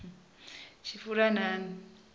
tshifulanani